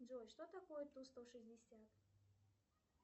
джой что такое ту сто шестьдесят